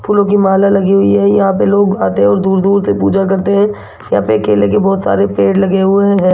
फूलों की माला लगी हुई है यहां पे लोग आते हैं और दूर दूर से पूजा करते हैं या पे केले के बहुत सारे पेड़ लगे हुए हैं।